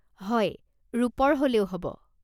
হয়, ৰূপৰ হ'লেও হ'ব।